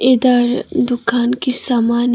इधर दुकान की समान है।